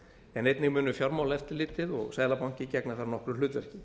en einnig munu fjármálaeftirlitið og seðlabanki gegna þar nokkru hlutverki